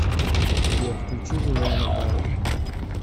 сбер включи джулианна барвик